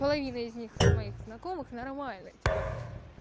половина из них с моих знакомых нормально типа